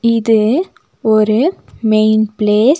இது ஒரு main place .